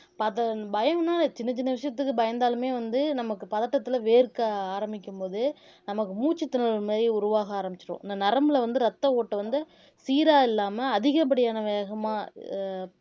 பதம் பயம்ன்னா சின்னச் சின்ன விஷயத்துக்கு பயந்தாலுமே வந்து நமக்கு பதட்டத்துல வேர்க்க ஆரம்பிக்கும்போது போது நமக்கு மூச்சு திணறல் மாதிரி உருவாக ஆரம்பிச்சிடும் இந்த நரம்புல வந்து ரத்த ஓட்டம் வந்து சீரா இல்லாம அதிகப்படியான வேகமா அஹ்